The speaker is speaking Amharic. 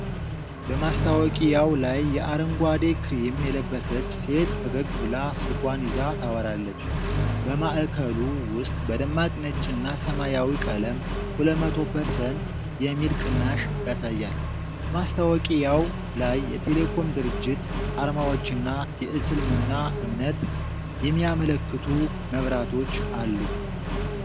በማስታወቂያው ላይ የአረንጓዴ ክሪም የለበሰች ሴት ፈገግ ብላ ስልኳን ይዛ ታወራለች። በማዕከሉ ውስጥ በደማቅ ነጭና ሰማያዊ ቀለም "200%" የሚል ቅናሽ ያሳያል። በማስታወቂያው ላይ የቴሌኮም ድርጅት አርማዎችና የእስልምና እምነትን የሚያመላክቱ መብራቶች አሉ።